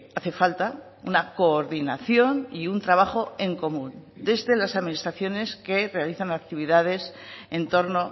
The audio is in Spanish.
hace falta una coordinación y un trabajo en común desde las administraciones que realizan actividades en torno